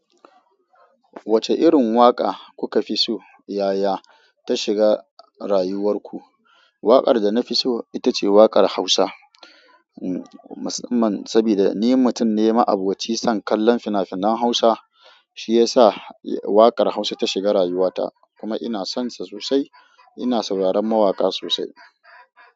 Wacce irin waƙa kuka fi so yaya ta shiga rayuwar ku? Waƙar da na fi so ita ce waƙar Hausa, saboda ni mutun ne, ma'aboci son kallon fina-finan Hausa shi ya sa waƙar Hausa ta shiga rayuwata kuma ina son sa sosai. Ina sauraron mawaƙa sosai.